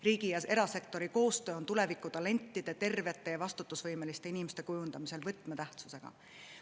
Riigi ja erasektori koostöö on tulevikutalentide, tervete ja vastutusvõimeliste inimeste kujundamisel võtmetähtsusega.